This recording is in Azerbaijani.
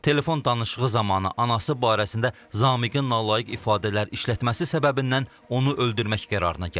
Telefon danışığı zamanı anası barəsində Zamiqin nalayıq ifadələr işlətməsi səbəbindən onu öldürmək qərarına gəlib.